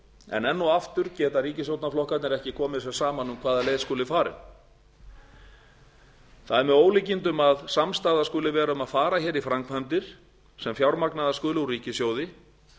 en enn og aftur geta ríkisstjórnarflokkarnir ekki komið sér saman um hvaða leið skuli farin það er með ólíkindum að samstaða skuli vera um að fara hér í framkvæmdir sem fjármagnaðar skulu úr ríkissjóði